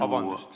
Vabandust!